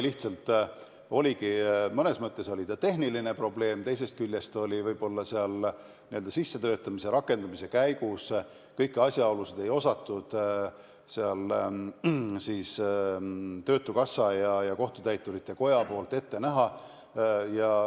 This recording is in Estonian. See oligi mõnes mõttes tehniline probleem, võib-olla n-ö sissetöötamise, rakendamise käigus kõiki asjaolusid ei osanud töötukassa ja kohtutäiturite koda ette näha.